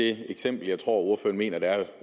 det eksempel jeg tror ordføreren mener der er